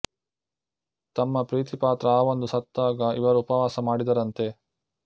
ತಮ್ಮ ಪ್ರೀತಿ ಪಾತ್ರ ಹಾವೊಂದು ಸತ್ತಾಗ ಇವರು ಉಪವಾಸ ಮಾಡಿದರಂತೆ